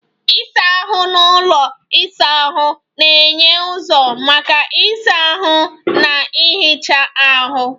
Ịsa ahụ na ụlọ isa ahụ na-enye ụzọ maka ịsa ahụ na ihicha ahụ.